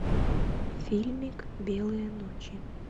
фильмик белые ночи